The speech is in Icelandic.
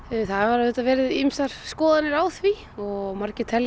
það hafa auðvitað verið ýmsar skoðanir á því og